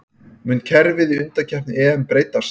Mun kerfið í undankeppni EM breytast?